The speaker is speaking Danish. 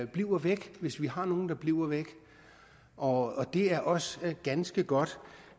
bliver væk hvis vi har nogle der bliver væk og det er også ganske godt